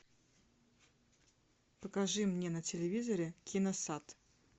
покажи мне на телевизоре киносад